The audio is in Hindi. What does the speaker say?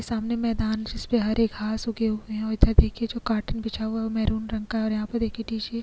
सामने मैदान है जिसमे हरे घास उगे हुए है और इधर देखिये जो कार्टून बिछा हुवा है वो मैरून रंग का और यहां पर देखिये --